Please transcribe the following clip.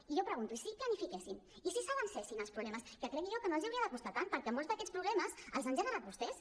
i jo pregunto i si planifiquessin i si s’avancessin als problemes que crec jo que no els hauria de costar tant perquè molts d’aquests problemes els han generat vostès